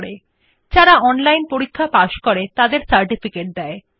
যারা অনলাইন পরীক্ষা পাস করে তাদের সার্টিফিকেট দেয়